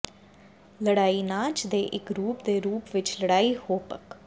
ਲੜਾਈ ਨਾਚ ਦੇ ਇੱਕ ਰੂਪ ਦੇ ਰੂਪ ਵਿੱਚ ਲੜਾਈ ਹੋਪਕ